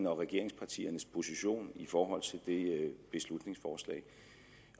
og regeringspartiernes position er i forhold til det beslutningsforslag